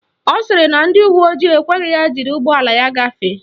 Ọ sịrị na ndị uwe ojii ekweghị ya jiri ụgbọala ya gafee.